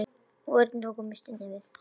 Örn tók nistið varlega upp.